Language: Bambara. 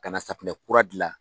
Ka na safinɛ kura dilan.